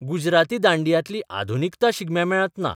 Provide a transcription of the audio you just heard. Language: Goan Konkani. गुजराती दांडियांतली आधुनिकता शिगम्या मेळांत ना.